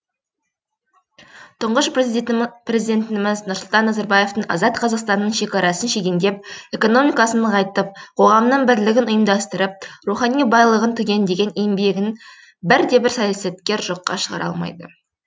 тұңғыш президентіміз нұрсұлтан назарбаевтың азат қазақстанның шекарасын шегендеп экономикасын нығайтып қоғамның бірлігін ұйымдастырып рухани байлығын түгендеген еңбегін бірде бір саясаткер жоққа шығара алмайды